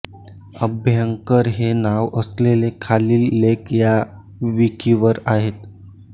अभ्यंकर हे नाव असलेले खालील लेख या विकिवर आहेत